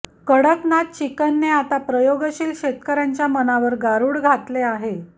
कडकनाथ चिकनने आता प्रयोगशील शेतकर्यांच्या मनावर गारूड घातले आहे